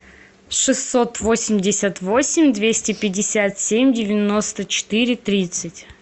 шестьсот восемьдесят восемь двести пятьдесят семь девяносто четыре тридцать